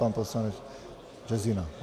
Pan poslanec Březina.